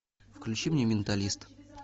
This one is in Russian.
включи мне менталист